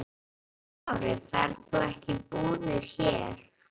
Höskuldur Kári: Þú ferð ekki í búðir hér?